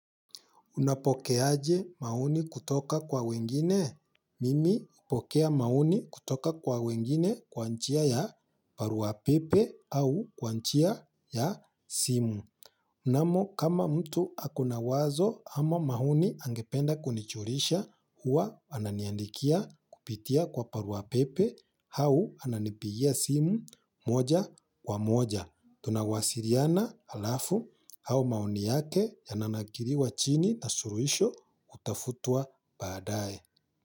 Unapokeaje maoni kutoka kwa wengine? Mimi hupokea maoni kutoka kwa wengine kwa njia ya barua pepe au kwa njia ya simu. Mnamo kama mtu akona wazo ama maoni angependa kunijulisha huwa ananiandikia kupitia kwa barua pepe au ananipigia simu moja kwa moja. Tunawasiliana alafu au maoni yake ya nanakiliwa chini na suluhisho kutafutwa baadae.